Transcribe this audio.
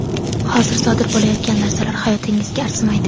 Hozir sodir bo‘layotgan narsalar hayotingizga arzimaydi.